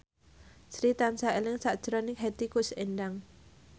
Sri tansah eling sakjroning Hetty Koes Endang